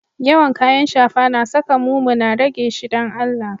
Yawan kayan shafa na sa ka mumuna, rage shi dan Allah.